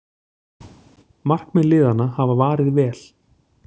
Markmenn liðanna hafa varið vel